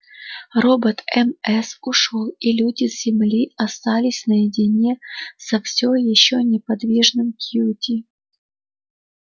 робот мс ушёл и люди с земли остались наедине со всеми ещё неподвижным кьюти